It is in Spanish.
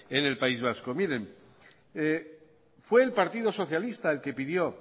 en el país vasco miren fue el partido socialista el que pidió